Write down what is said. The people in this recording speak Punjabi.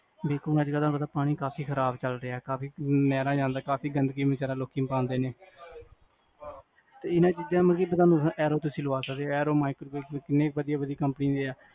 ਬਿਲਕੁਲ, ਅਜਕਲ ਪਾਣੀ ਕਾਫੀ ਖਰਾਬ ਚਲ ਰਿਆ, ਕਾਫੀ ਗੰਦਗੀ ਲੋਕੀ ਪਾਂਦੇ ਨੇ ਏਨਾ ਚੀਜਾਂ ਨਾਲ RO ਤੁਸੀਂ ਲਵਾ ਸਕਦੇ ਹੋ RO, Microwave ਕਿੰਨੇ ਵਦੀਆਂ ਵਦੀਆਂ ਕੰਪਨੀ ਦੇ ਆ